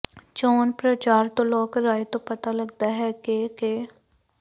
ਚੋਣ ਪ੍ਰਚਾਰ ਤੋਂ ਲੋਕ ਰਾਇ ਤੋਂ ਪਤਾ ਲੱਗਦਾ ਹੈ ਕਿ ਕਿ